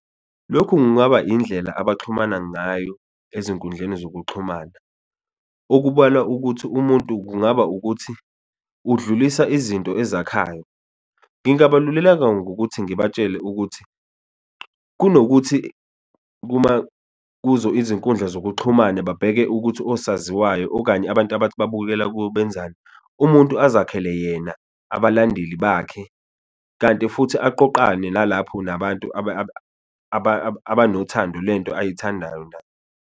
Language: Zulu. Lokhu kungaba indlela abaxhumana ngayo ezinkundleni zokuxhumana okubalwa ukuthi umuntu kungaba ukuthi udlulisa izinto ezakhayo, ngingabalululeka ngokuthi ngibatshele ukuthi, kunokuthi kuzo izinkundla zokuxhumana babheke ukuthi osaziwayo okanye abantu abathi babukela kubo benzani umuntu azakhele yena abalandeli bakhe, kanti futhi aqoqane nalapho nabantu abanothando lento ayithandayo naye.